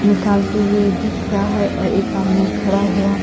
निकालती हुई दिख रही है और एक आदमी खड़ा हुआ--